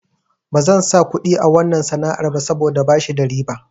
Bazan sa kuɗi a wanna sana'ar ba saboda bashi da riba.